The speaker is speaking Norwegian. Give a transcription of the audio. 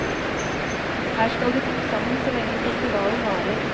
Her skal de bo sammen så lenge festivalen varer.